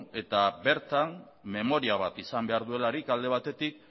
eta bertan memoria bat izan behar duelarik alde batetik